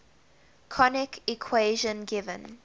conic equation given